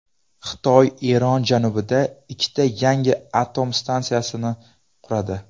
Xitoy Eron janubida ikkita yangi atom stansiyasini quradi.